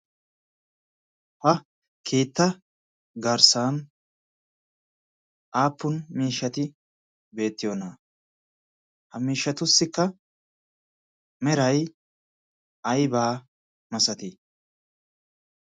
pa keetta garssan aappun miishshati beettiyoonaa? ha miishshatussikka meray aybaa masatii?